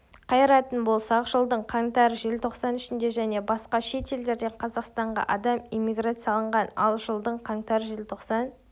қайыратын болсақ жылдың қаңтар-желтоқсан ішінде және басқа шет елдерден қазақстанға адам иммиграцияланған ал жылдың қаңтар-желтоқсан